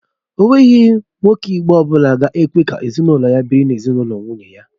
Ènweghi nwoke Igbo ọbụla ga-ekwe ka ezinụlọ ya biri n'ezinụlọ nwunye ya